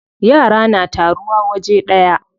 Yara na taruwa waje daya.